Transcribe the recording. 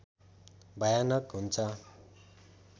भयानक हुन्छ